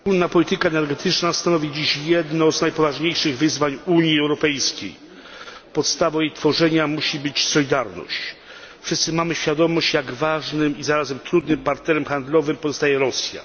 Panie Przewodniczący! Wspólna polityka energetyczna stanowi dziś jedno z najpoważniejszych wyzwań Unii Europejskiej. Podstawą jej tworzenia musi być solidarność. Wszyscy mamy świadomość, jak ważnym i zarazem trudnym partnerem handlowym pozostaje Rosja.